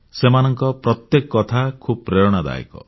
ସେମାନଙ୍କ ପ୍ରତ୍ୟେକ କଥା ଖୁବ୍ ପ୍ରେରଣାଦାୟକ